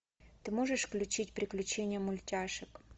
ты можешь включить приключения мультяшек